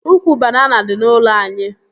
Ụkwụ banana dị n'ụlọ anyị